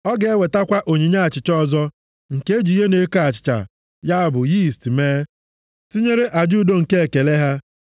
Ọ ga-ewetakwa onyinye achịcha ọzọ nke e ji ihe na-eko achịcha, ya bụ, yiist mee, tinyere aja udo nke ekele ha.